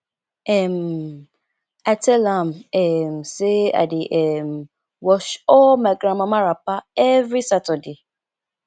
um i tell am um sey i dey um wash all my grandmama wrapper every saturday